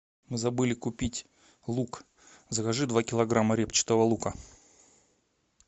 мы забыли купить лук закажи два килограмма репчатого лука